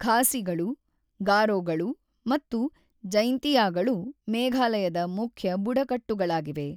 ಖಾಸಿಗಳು, ಗಾರೋಗಳು ಮತ್ತು ಜೈನ್ತಿಯಾಗಳು ಮೇಘಾಲಯದ ಮುಖ್ಯ ಬುಡಕಟ್ಟುಗಳಾಗಿವೆ.